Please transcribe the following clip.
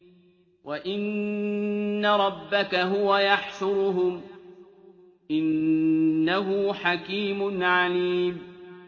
وَإِنَّ رَبَّكَ هُوَ يَحْشُرُهُمْ ۚ إِنَّهُ حَكِيمٌ عَلِيمٌ